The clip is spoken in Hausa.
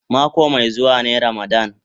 Mako mai zuwa ne ramadan.